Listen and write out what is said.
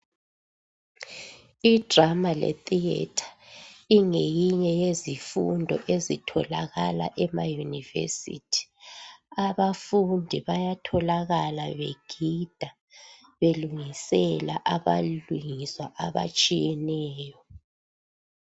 Idrama letheatre ingeyinye yezifundo ezitholakala ema university abafundi bayatholakala begida belingisela balwisa abatshiyeneyo